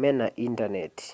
mena intaneti